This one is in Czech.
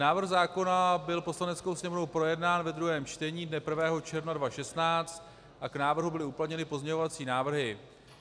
Návrh zákona byl Poslaneckou sněmovnou projednán ve druhém čtení dne 1. června 2016 a k návrhu byly uplatněny pozměňovací návrhy.